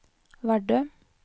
Vardø